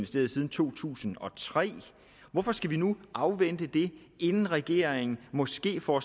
siden to tusind og tre så hvorfor skal vi nu afvente det inden regeringen måske får